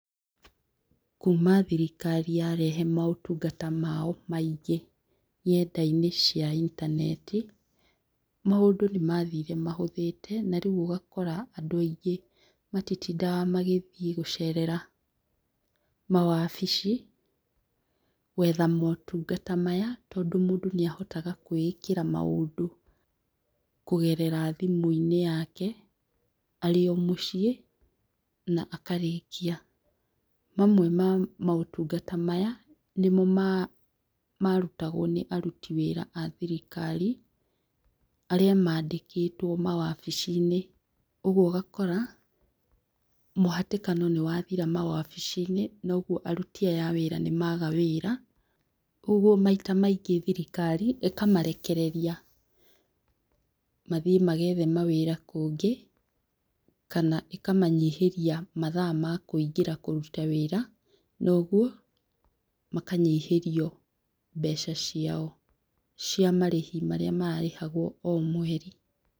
Kuma thirikari yarehe motungata mao maingĩ nenda-inĩ cia intaneti, maũndũ nĩ mathire mahũthĩte na rĩu ũgakora andũ aingĩ matitindaga magĩthiĩ gũcerera ma wabici, gwetha motungata maya tondũ mũndũ nĩ ahotaga kwĩĩkĩra maũndũ kũgerera thimũ-inĩ yake arĩo mũciĩ na akarĩkia. Mamwe ma motungata maya nĩmo marutagwo nĩ aruti a wĩra a thirikari arĩa mandĩkĩtwo mawabici-inĩ, ũguo ũgakora mũhatĩkano nĩ wathira mawabici-inĩ na ũguo aruti aya a wĩra nĩ maga wĩra, ũguo maita maingĩ thirikari ĩkamarekereria mathiĩ magethe mawĩra kũngĩ kana ĩkamanyihĩria mathaa ma kũingĩra kũruta wĩra. Noguo makanyĩhĩrio mbeca ciao cia marĩhi marĩa marĩhagwo o mweri.